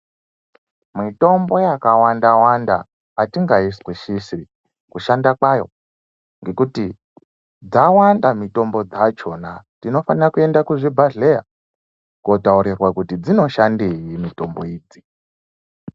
Mitombo yakawanda-wanda hatingaizwisisi kushanda kwayo ngekuti dzawanda mitombo dzachona. Tinofana kuenda kuzvibhadhleya kunotaurirwa kuti dzinoshandei mitombo idzi.